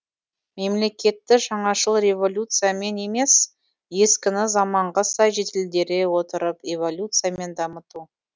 мемлекетті жаңашыл революциямен емес ескіні заманға сай жетілдере отырып эволюциямен дамыту